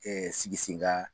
Ɛɛ sigi sinka.